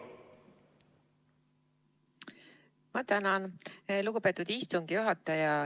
Ma tänan, lugupeetud istungi juhataja!